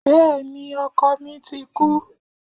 Béèni ọkọ mi ti kú